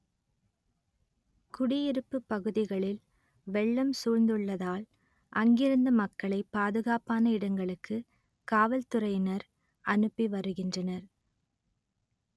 குடியிருப்பு பகுதிகளில் வெள்ளம் சூழ்ந்துள்ளதால் அங்கிருந்து மக்களை பாதுகாப்பான இடங்களுக்கு காவல்துறையினர் அனுப்பி வருகின்றனர்